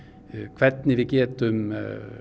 hvernig við getum